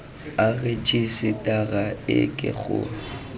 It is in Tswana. a rejisetara e ke go